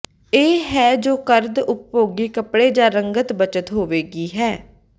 ਇਹ ਹੈ ਜੋ ਕਰਦ ਉਪਭੋਗੀ ਕੱਪੜੇ ਜ ਰੰਗਤ ਬੱਚਤ ਹੋਵੇਗੀ ਹੈ